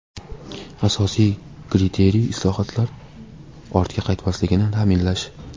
Asosiy kriteriy islohotlar ortga qaytmasligini ta’minlash.